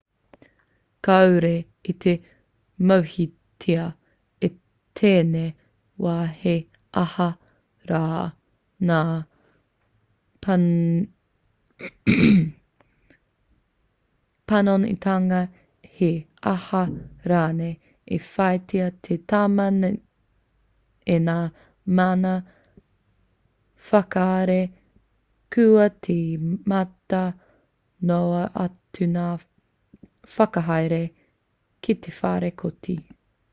kāore i te mōhiotia i tēnei wā he aha rā ngā panonitanga he aha rānei i whāia te tama nei e ngā mana whakahaere kua tīmata noa atu ngā whakahaere ki te whare kōti